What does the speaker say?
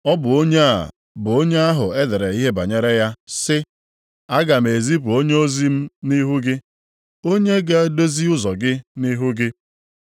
Ọ bụ onye a bụ onye ahụ e dere ihe banyere ya sị, “ ‘Aga m ezipu onyeozi m nʼihu gị, onye ga-edozi ụzọ gị nʼihu gị.’ + 7:27 \+xt Mal 3:1\+xt*